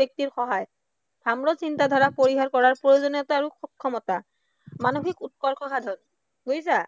ব্য়ক্তিৰ সহায়, চিন্তাধাৰাৰ পৰিহাৰ কৰাৰ প্ৰয়োজনীয়তা আৰু সক্ষমতা, মানসিক উৎকৰ্ষ সাধন, বুজিছা?